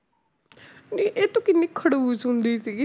ਨਹੀਂ ਇਹ ਤੂੰ ਕਿੰਨੀ ਖੜੂਸ ਹੁੰਦੀ ਸੀਗੀ